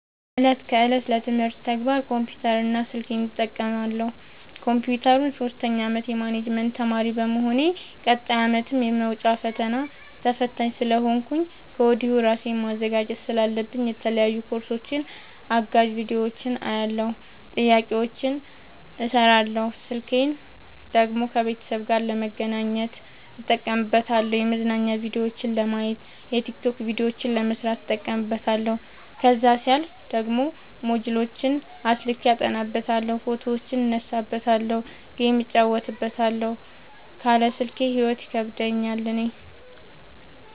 እለት ከእለት ለትምህርት ተግባር ኮምፒውተር እና ስልኬን እጠቀማለሁ። ኮንፒውተሩን ሶስተኛ አመት የማኔጅመት ተማሪ በመሆኔ ቀጣይ አመትም የመውጫ ፈተና ተፈታኝ ስለሆንኩኝ ከወዲሁ እራሴን ማዘጋጀት ስላለብኝ የተለያዩ ኮርሶችን አጋዝ ቢዲዮዎችን አያለሁ። ጥያቄዎችን እሰራለሁ። ስልኬን ደግሞ ከቤተሰብ ጋር ለመገናኘት እጠቀምበታለሁ የመዝናኛ ቭዲዮዎችን ለማየት። የቲክቶክ ቪዲዮዎችን ለመስራት እጠቀምበታለሁ። ከዛሲያልፍ ደግሞ ሞጅልዎችን አስልኬ አጠናበታለሁ። ፎቶዎችን እነሳበታለሀለ። ጌም እጫወትበታለሁ ካለ ስልኬ ሂይወት ይከብደኛል እኔ።